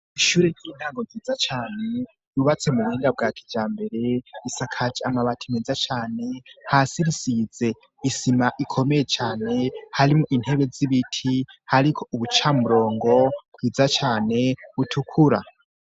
Ishure ry'intago ryiza cane ryubatse mu buhinga bwa kijambere, isakaje amabati meza cane, hasi risize isima ikomeye cane harimo intebe z'ibiti, hariko ubucamurongo bwiza cane butukura.